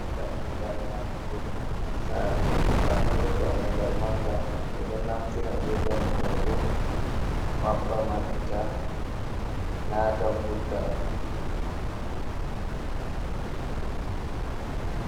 Dammugal natugo sare, waato dammugal manga. Ɓe ɗo naftira be dammugal ɗo maɓɓa maɓɓita, nata vurta.